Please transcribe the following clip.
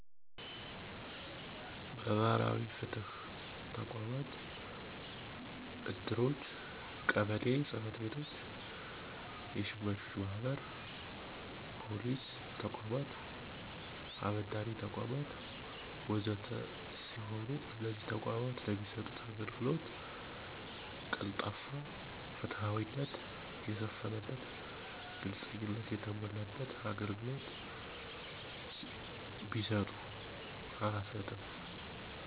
መህበራዊ ፍትህ ተቋማት፣ እድሮች፣ ቀበሌ ጸጽቤቶች፣ የሸማቾች ማህበር፣ ፖሊስ ተቋማት፣ አበዴሪተቋማት፣ ወዘተ ሰሲሆኑ እነዚህ ተቋማት ለሚሰጡት አገልግሎት ቀልጣፋና ፍትሀዊነት የሰፈነበት፣ ግልጽኝነት የተሞላበት አገልግሎት ቢሰጡ።